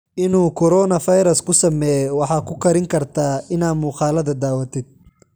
Inu korona fairas kusameye waxa kukaranikartaa ina muqaladha dhawatidh.